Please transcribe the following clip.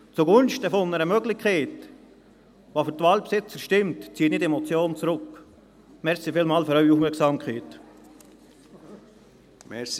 Zugunsten einer Möglichkeit, die für die Waldbesitzer stimmt, ziehe ich diese Motion zurück.